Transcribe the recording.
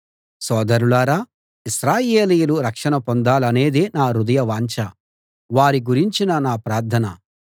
సోదరులారా ఇశ్రాయేలీయులు రక్షణ పొందాలనేదే నా హృదయవాంఛ వారి గురించిన నా ప్రార్థన